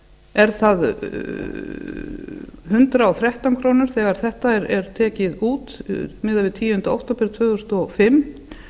er það hundrað og þrettán krónur þegar þetta er tekið út miðað við tíunda okt tvö þúsund og fimm